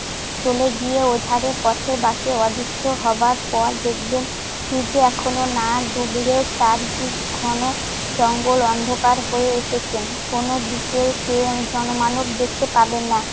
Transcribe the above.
চলে গিয়ে ওধারে পথের বাঁকে অদৃশ্য হবার পর দেখবেন সুর্য এখনো না ডুবলেও চারদিক ঘন জঙ্গল অন্ধকার হয়ে এসেছে। কোনদিকে জনমানব দেখতে পাবেন না।